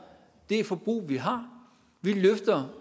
det forbrug vi har vi løfter